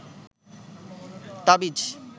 তাবিজ